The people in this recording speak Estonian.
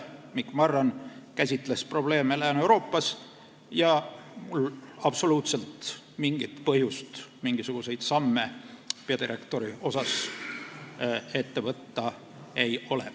Mikk Marran käsitles probleeme Lääne-Euroopas ja mul ei ole absoluutselt mingit põhjust peadirektori osas mingisuguseid samme ette võtta.